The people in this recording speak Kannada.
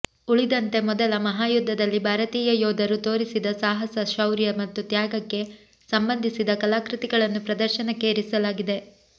ಉಳಿದಂತೆ ಮೊದಲ ಮಹಾಯುದ್ಧದಲ್ಲಿ ಭಾರತೀಯ ಯೋಧರು ತೋರಿದ ಸಾಹಸ ಶೌರ್ಯ ಮತ್ತು ತ್ಯಾಗಕ್ಕೆ ಸಂಬಂಧಿಸಿದ ಕಲಾಕೃತಿಗಳನ್ನು ಪ್ರದರ್ಶನಕ್ಕೆ ಇರಿಸಲಾಗಿದೆ